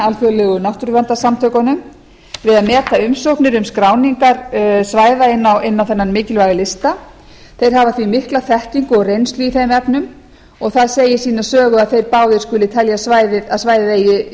alþjóðlegu náttúruverndarsamtökunum við að meta umsóknir um skráningar svæða inn á þennan mikilvæga lista þeir hafa því mikla þekkingu og reynslu í þeim efnum það segir sína sögu að þeir skuli báðir telja að svæðið eigi